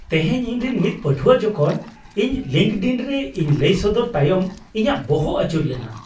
ᱛᱮᱦᱮᱧ ᱤᱧᱨᱮᱱ ᱢᱤᱫ ᱯᱟᱹᱴᱷᱩᱣᱟᱹ ᱡᱚᱠᱷᱚᱱ ᱤᱧ ᱞᱤᱝᱠᱰᱤᱱ ᱨᱮ ᱤᱧ ᱞᱟᱹᱭ ᱥᱚᱫᱚᱨ ᱛᱟᱭᱚᱢ ᱤᱧᱟᱹᱜ ᱵᱚᱦᱚ ᱟᱹᱪᱩᱨ ᱞᱮᱱᱟ ᱾